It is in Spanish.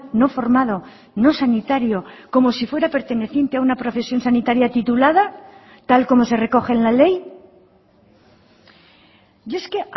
no formado no sanitario como si fuera perteneciente a una profesión sanitaria titulada tal como se recoge en la ley y es que